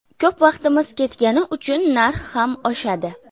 Ko‘p vaqtimiz ketgani uchun narx ham oshadi.